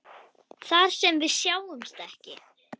Þar sem við sjáumst ekki.